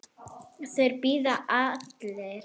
Þeir biðu allir.